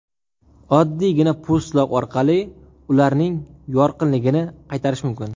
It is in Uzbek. Oddiygina po‘stloq orqali ularning yorqinligini qaytarish mumkin.